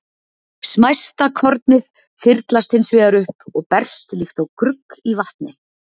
Smæsta kornið þyrlast hins vegar upp og berst líkt og grugg í vatni.